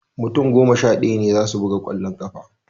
Mutum goma sha ɗaya ne za su buga ƙwallon ƙafa